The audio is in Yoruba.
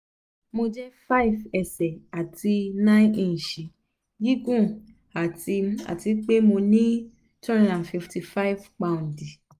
mo jẹ́ [c] five ẹsẹ̀ àti nine ìnṣì gígùn àti àti pe mo ní two hundred and fifty five